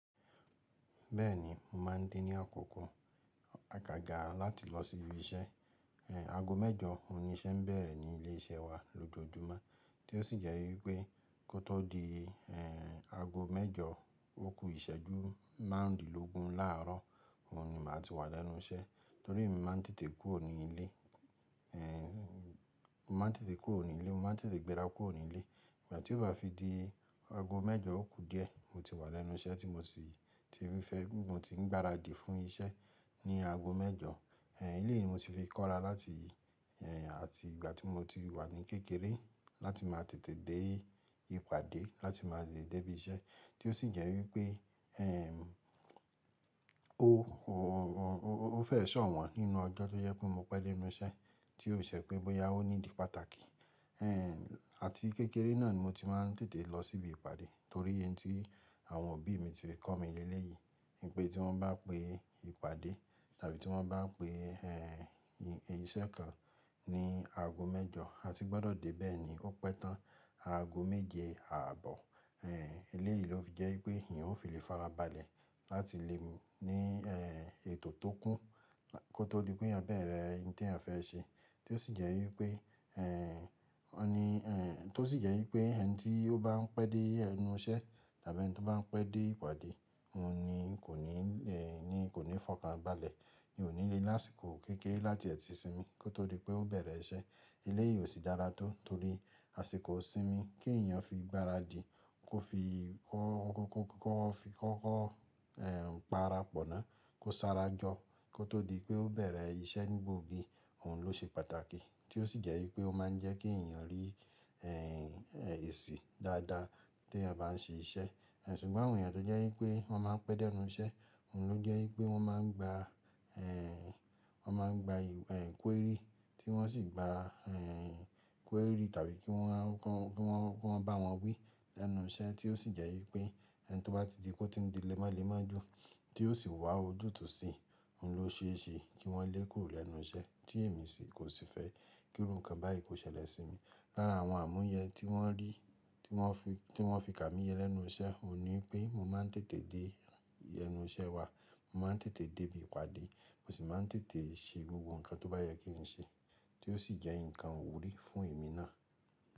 Bẹ́ẹ̀ni, mo máa ń dé ní àkókò a gàgà láti lọ sí ibi iṣẹ́. Aago mẹ́jọ òní iṣẹ́ ń bẹ̀rẹ̀ ní ilé iṣẹ́ wa lójoojúmọ́, tí ó sì jẹ́ wípé kó tó di aago mẹ́jọ òkú ìṣẹ́jú márùndínlógún láààrọ́, mo ni màá ti wà lẹ́nu iṣẹ́. Torí mo máa ń tètè kúrò ní ilé, mo máa ń tètè gbéra kúrò ní ilé. Ìgbà tí ó bá fi di aago mẹ́jọ òkú díẹ̀, mo ti wà lẹ́nu iṣẹ́ tí mo sì ti rí fẹ́, mo ti ń gbáradì fún iṣẹ́ ní aago mẹ́jọ. Ehn ilé yìí ni mo ti fi kóra láti àti ìgbà tí mo ti wà ní kékeré láti máa tètè dé ìpàdé, láti máa lè dé ibi iṣẹ́. Tí ó sì jẹ́ wípé eh o o o o o o o o fẹ́ ṣọ̀wọ́n nínú ọjọ́ tó jẹ́ pé mo pẹ́ dé inú iṣẹ́ tí ó ṣẹ pé bóyá ó ní di pàtàkì. Ehn àti kékeré náà ni mo ti máa ń tètè lọ sí ibi ìpàdé torí ẹni tí àwọn òbí mi ti fi kọ́ mi ní ilé yìí pé tí wọ́n bá pé ìpàdé tàbí tí wọ́n bá pé eh iṣẹ́ kan ní aago mẹ́jọ, a ti gbọ́dọ̀ dé bẹ́ẹ̀ ni, ó pẹ́ tán aago méje ààbọ̀. Ehn ilé yìí ló fi jẹ́ wípé èèyàn ó fi lè farabalẹ̀ láti lè ní ètò tó kún kó tó di pé yan bẹ̀rẹ̀ ẹni tí èyàn fẹ́ ṣe. Tí ó sì jẹ́ wípé eh ẹni eh tí ó sì jẹ́ wípé ẹni tí ó bá ń pẹ́ dé ẹnu iṣẹ́ tàbí ẹni tí ó bá ń pẹ́ dé ìpàdé, òun ni kò ní eh ni kò ní fọ̀kàn balẹ̀, ni ò ní lé lásìkò kékeré láti ẹti sí mi kó tó di pé ó bẹ̀rẹ̀ iṣẹ́. Ilé yìí ò sí dára tó torí àsìkò sí mi kí èèyàn fi gbáradì kó fi kọ́kọ́ kọ́kọ́ fi kọ́kọ́ eh para pọ̀nna kó sára jọ kó tó di pé ó bẹ̀rẹ̀ iṣẹ́ nígbògbì, òun ló ṣe pàtàkì. Tí ó sì jẹ́ wípé ó máa ń jẹ́ kí èèyàn rí eh èsì dáadáa tí èèyàn bá n ṣe iṣẹ́. Ehn ṣùgbọ́n àwọn èèyàn tó jẹ́ wípé wọ́n máa ń pẹ́ dé ẹnu iṣẹ́, òun ló jẹ́ wípé wọ́n máa ń gba eh wọ́n máa ń gba eh query tí wọ́n sì gba eh query tàbí kí wọ́n kí wọ́n kí wọ́n bá wọn wí lẹ́nu iṣẹ́ tí ó sì jẹ́ wípé ẹni tí ó bá ti di kó ti di lé mọ́ lé mọ́ jù tí ó sì wá ojútùú sí i, òun ló ṣe é ṣe kí wọ́n lé e kúrò lẹ́nu iṣẹ́ tí èmi sì kò sì fẹ́ kí irú nǹkan báyìí kó ṣẹlẹ̀ sí mi. Lára àwọn àmúyẹ tí wọ́n rí, tí wọ́n fi tí wọ́n fi kà mí lẹ́nu iṣẹ́, òun ni pé mo máa ń tètè dé ẹnu iṣẹ́ wa, mo máa ń tètè dé ibi ìpàdé, mo sì máa ń tètè ṣe gbogbo nǹkan tó bá yẹ kí n ṣe tí ó sì jẹ́ nǹkan wù rí fún èmi náà.